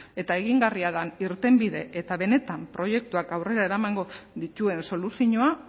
eta egingarria den irtenbide eta benetan proiektuak aurrera eramango dituen soluzioa